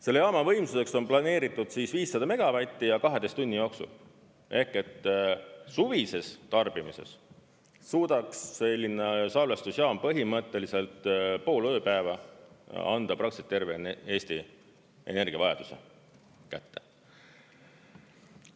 Selle jaama võimsuseks on planeeritud 500 megavatti ja 12 tunni jooksul, ehk et suvises tarbimises 100 megavatti ja 12 tunni jooksul ehk et suvises tarbimises suudaks selline salvestusjaam põhimõtteliselt pool ööpäeva anda praktiliselt terve Eesti energiavajaduse kätte.